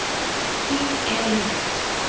Þín Elín Rut.